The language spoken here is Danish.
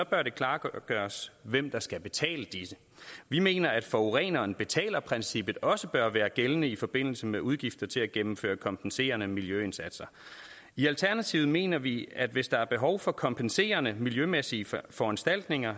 bør det klargøres hvem der skal betale disse vi mener at forureneren betaler princippet også bør være gældende i forbindelse med udgifter til at gennemføre kompenserende miljøindsatser i alternativet mener vi at hvis der er behov for kompenserende miljømæssige foranstaltninger